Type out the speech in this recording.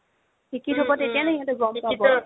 শিক্ষিত হ'ব তেতিয়া ন গ'ম পাব